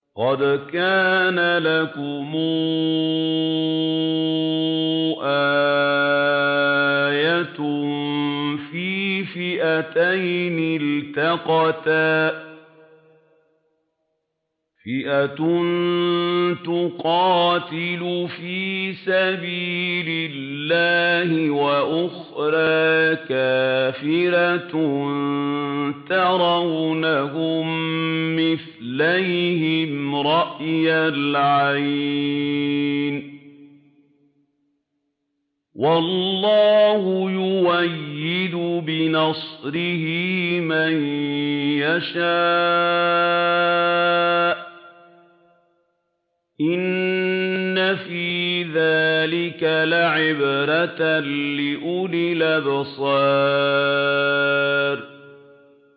قَدْ كَانَ لَكُمْ آيَةٌ فِي فِئَتَيْنِ الْتَقَتَا ۖ فِئَةٌ تُقَاتِلُ فِي سَبِيلِ اللَّهِ وَأُخْرَىٰ كَافِرَةٌ يَرَوْنَهُم مِّثْلَيْهِمْ رَأْيَ الْعَيْنِ ۚ وَاللَّهُ يُؤَيِّدُ بِنَصْرِهِ مَن يَشَاءُ ۗ إِنَّ فِي ذَٰلِكَ لَعِبْرَةً لِّأُولِي الْأَبْصَارِ